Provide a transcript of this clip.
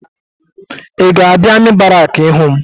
Ị ga-abịa amị barakị ịhụ m?